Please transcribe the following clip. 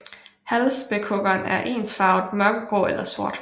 Halvspækhuggeren er ensfarvet mørkegrå eller sort